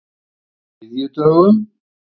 þriðjudögum